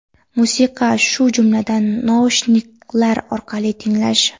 musiqa, shu jumladan naushniklar orqali tinglash;.